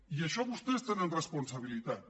i en això vostès tenen responsabilitats